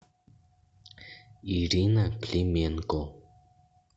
ирина клименко